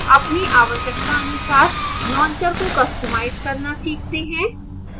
अपनी आवश्यकतानुसार launcher को customize करना सीखते हैं